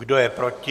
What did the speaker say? Kdo je proti?